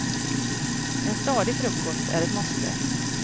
En stadig frukost är ett måste.